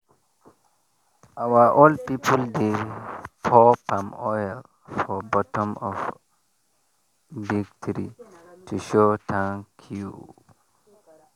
our old people dey pour palm oil for bottom of big tree to show thank you.